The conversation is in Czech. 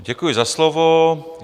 Děkuji za slovo.